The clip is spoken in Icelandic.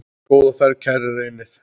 Góða ferð, kæri Reynir.